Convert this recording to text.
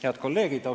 Head kolleegid!